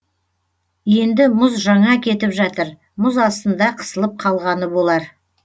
енді мұз жаңа кетіп жатыр мұз астында қысылып қалғаны болар